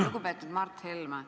Lugupeetud Mart Helme!